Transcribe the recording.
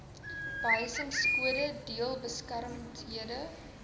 behuisingkode deel gestremdhede